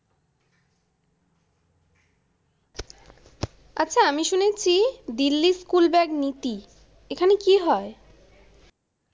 আচ্ছা, আমি শুনেছি দিল্লি স্কুল ব্যাগ নীতি। এখানে কি হয়?